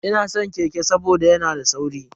Ina san keke saboda yana da sauri.